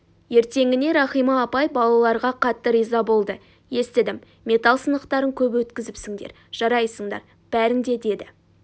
ертеңіне рахима апай балаларға қатты риза болды естідім металл сынықтарын көп өткізіпсіндер жарайсыңдар бәрің де деді